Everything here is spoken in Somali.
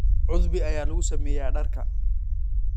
Cudbi ayaa lagu sameeyaa dharka.